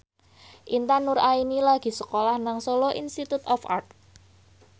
Intan Nuraini lagi sekolah nang Solo Institute of Art